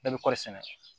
Bɛɛ bɛ kɔri sɛnɛ